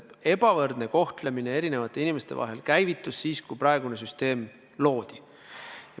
Ebavõrdne kohtlemine käivitus siis, kui praegune süsteem loodi.